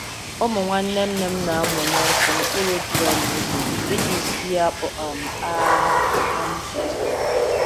Ụmụ nwanne nne m na-amụnye nkụ n'okpuru drum ígwè iji sie akpu um a um kụtara.